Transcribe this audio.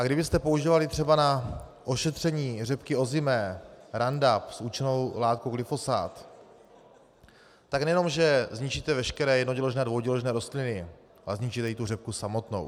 A kdybyste používali třeba na ošetření řepky ozimé Roundup s účinnou látkou glyfosát, tak nejenom že zničíte veškeré jednoděložné a dvouděložné rostliny, ale zničíte i tu řepku samotnou.